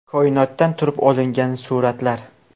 Koinotdan turib olingan suratlar .